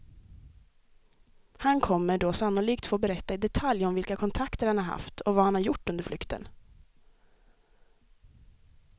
Han kommer då sannolikt få berätta i detalj om vilka kontakter han har haft och vad han har gjort under flykten.